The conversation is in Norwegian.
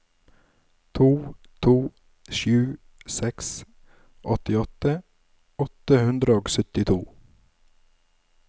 to to sju seks åttiåtte åtte hundre og syttito